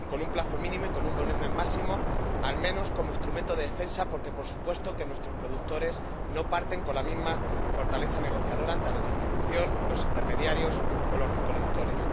plazo mínimo y con un volumen máximo, al menos como instrumento de defensa, porque, por supuesto, nuestros productores no parten con la misma fortaleza negociadora ante la distribución, los intermediarios o los recolectores.